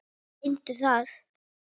Reyndu það.